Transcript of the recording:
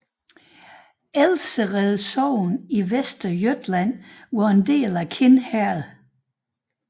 Ælvsered sogn i Västergötland var en del af Kind herred